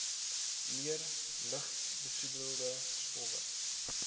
meer lugbesoedelende stowwe